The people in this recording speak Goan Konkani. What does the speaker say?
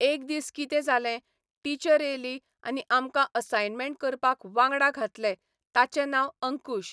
एक दीस कितें जालें टिचर एली आनी आमकां असायमेंट करपाक वांगडा घातलें ताचें नांव अंकूश